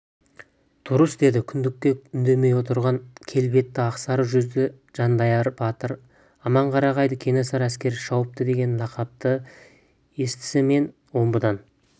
дұрыс деді күндікке үндемей отырған келбетті ақсары жүзді жанайдар батыр аманқарағайды кенесары әскері шауыпты деген лақапты естісімен омбыдан